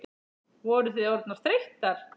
Voru þið orðnar þreyttar?